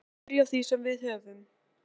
Við skulum bara byrja á því sem við höfum.